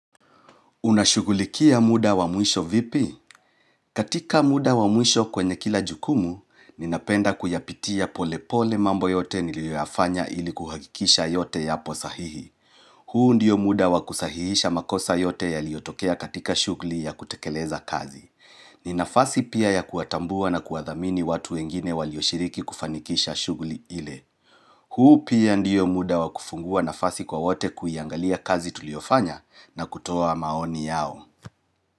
Unashugulikia muda wa mwisho vipi? Katika muda wa mwisho kwenye kila jukumu, ninapenda kuyapitia pole pole mambo yote nilioyafanya ili kuhakikisha yote yapo sahihi. Huu ndiyo muda wa kusahihisha makosa yote yaliotokea katika shugli ya kutekeleza kazi. Ni nafasi pia ya kuwatambua na kuwathamini watu wengine walioshiriki kufanikisha shugli ile. Huu pia ndiyo muda wa kufungua nafasi kwa wote kuiangalia kazi tuliofanya na kutoa maoni yao.